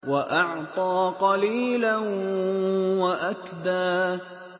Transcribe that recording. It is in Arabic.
وَأَعْطَىٰ قَلِيلًا وَأَكْدَىٰ